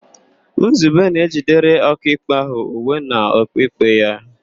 Nzube na-ejidere Ọkaikpe ahụ uwe na okpu ikpe ya.